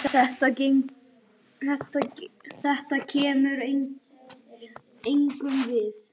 Þetta kemur engum við.